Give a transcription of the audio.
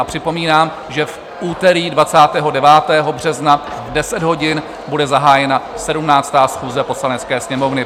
A připomínám, že v úterý 29. března v 10 hodin bude zahájena 17. schůze Poslanecké sněmovny.